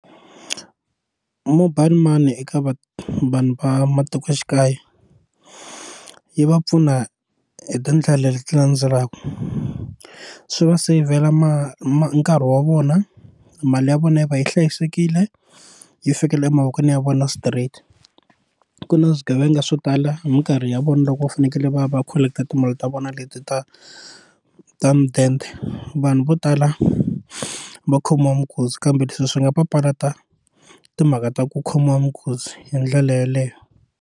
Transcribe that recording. Mobile money eka va vanhu va matikoxikaya yi va pfuna hi tindlela leti landzelaka swi va ma ma nkarhi wa vona mali ya vona yi va yi hlayisekile yi fikelela emavokweni ya vona straight ku na swigevenga swo tala hi minkarhi ya vona loko va fanekele va va collect timali ta vona leti ta ta mudende vanhu vo tala va khomiwa minkuzi kambe leswi swi nga papalata timhaka ta ku khomiwa minkuzi hi ndlela yeleyo.